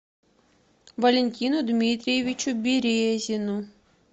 валентину дмитриевичу березину